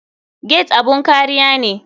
Gate abun kariya ne.